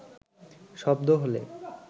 শব্দ হলে